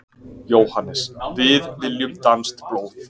JÓHANNES: Við viljum danskt blóð!